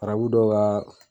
Arabu dɔw ka